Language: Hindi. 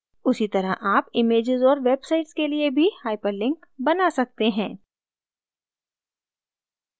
उसी तरह आप images और websites के लिए भी hyperlinks बना सकते हैं